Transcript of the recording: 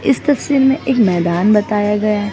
इस तस्वीर में एक मैदान बताया गया--